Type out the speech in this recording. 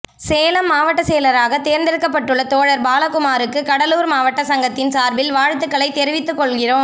சேலம் மாவட்ட செயலராக தேர்ந்தெடுக்கப்பட்டுள்ள தோழர் பாலகுமாருக்கு கடலூர் மாவட்ட சங்கத்தின் சார்பில் வாழ்த்துக்களை தெரிவித்துக்கொள்கிறோம்